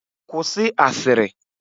Kwụsị asịrị!